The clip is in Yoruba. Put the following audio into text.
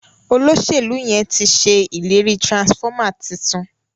Oloselu yén tí ṣe ìlérí transformer títún.